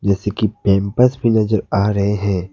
जैसे कि पैंपर्स भी नजर आ रहे हैं।